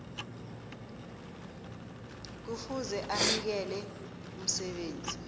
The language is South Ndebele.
kufuze anikele umsebenzi